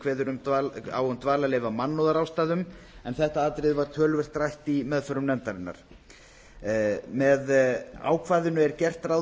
kveður á um dvalarleyfi af mannúðarástæðum en þetta atriði var töluvert rætt í meðförum nefndarinnar með ákvæðinu er gert ráð